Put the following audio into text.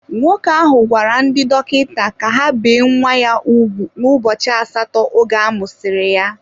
Nwoke ahụ gwara ndị dọkịta ka ha bee nwa ya ugwu n'ụbọchị asatọ oge amụsiri ya.